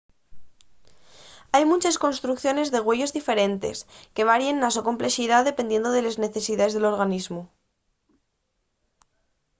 hai munches construcciones de güeyos diferentes que varien na so complexidá dependiendo de les necesidaes del organismu